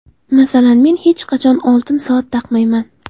Masalan, men hech qachon oltin soat taqmayman.